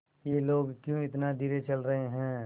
ये लोग क्यों इतना धीरे चल रहे हैं